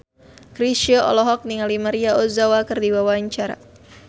Chrisye olohok ningali Maria Ozawa keur diwawancara